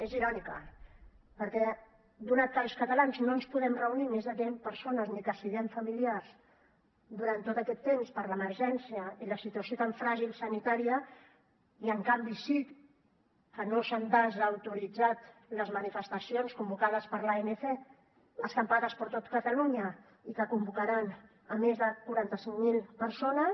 és irònica perquè donat que els catalans no ens podem reunir més de deu persones ni que siguem familiars durant tot aquest temps per l’emergència i la situació tan fràgil sanitària i en canvi sí que no s’han desautoritzat les manifestacions convocades per l’anc escampades per tot catalunya i que convocaran més de quaranta cinc mil persones